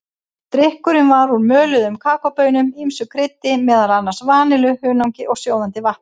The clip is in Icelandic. Drykkurinn var úr möluðum kakóbaunum, ýmsu kryddi, meðal annars vanillu, hunangi og sjóðandi vatni.